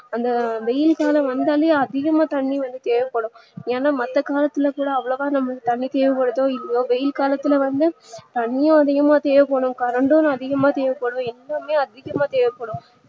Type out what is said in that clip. அந்த வெயில் காலம் வந்தாலே அதிகமா தண்ணீ வந்து தேவப்படும் ஏனா மத்த காலத்துல கூட அவ்ளவா நமக்கு தண்ணீ தேவபடுதோ இல்லையோ வெயில் காலத்துல வந்து தண்ணீ அதிகமா தேவப்படும் current டும் அதிகமா தேவப்படும் எல்லாமே அதிகமா தேவப்படும்